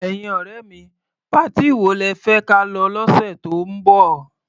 Ẹ̀yin ọ̀rẹ́ mi, patí wo lẹ fẹ́ ka lọ lọ́sẹ̀ tó ń bọ̀?